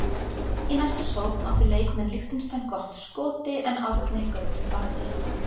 Í næstu sókn áttu leikmenn Liechtenstein gott skoti en Árni Gautur varði.